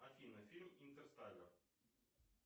афина фильм интерстеллер